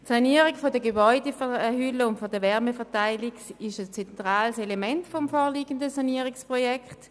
Die Sanierung der Gebäudehülle und der Wärmeverteilung sind zentrale Elemente des vorliegenden Sanierungsprojekts.